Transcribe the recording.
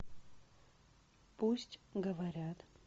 пусть говорят